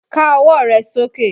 Ká ọwọ́ rẹ sókè!